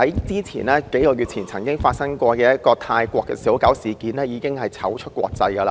數個月前發生的泰國小狗事件，已經令我們在國際間出醜。